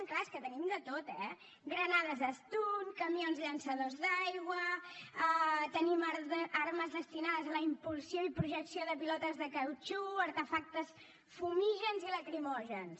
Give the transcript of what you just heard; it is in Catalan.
és clar és que tenim de tot eh granades stun camions llançadors d’aigua tenim armes destinades a la impulsió i projecció de pilotes de cautxú artefactes fumígens i lacrimògens